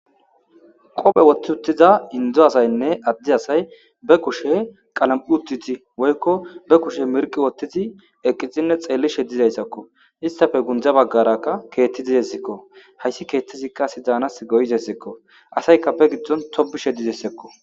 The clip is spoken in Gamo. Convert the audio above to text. qophe wotti uttiza indzo asaynne addi asay be kushe qalam7u uttiti woykko be kushe mirqi wottizi eqqizinne xeellishe dizayssakko istafe gundza baggarakka keetti di desikko hayssi keettizikka sidaanas goyizessikko asayka be giddon tobishe dizessekko